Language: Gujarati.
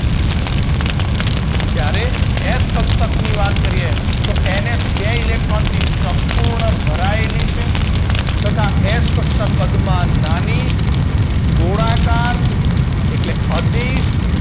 જ્યારે S કક્ષકની વાત કરીએ તો NF બે electron થી સંપૂર્ણ ભરાયેલી છે તથા S કક્ષક કદમા નાની ગોળાકાર એટલે અદિશ